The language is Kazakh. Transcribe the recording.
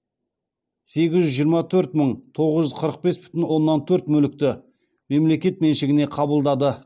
сегіз жүз жиырма төрт мың тоғыз жүз қырық бес бүтін оннан төрт мүлікті мемлекет меншігіне қабылдады